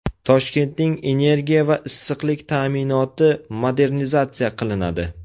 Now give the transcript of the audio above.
Toshkentning energiya va issiqlik ta’minoti modernizatsiya qilinadi.